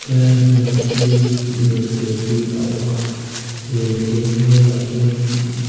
he lai hmunah hianin leite hi awm a leite hnuaiah hianin--